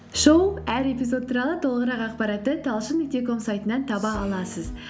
шоу әр эпизод туралы толығырақ ақпаратты талшын нүкте ком сайтынан таба аласыз